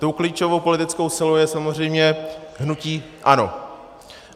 Tou klíčovou politickou silou je samozřejmě hnutí ANO.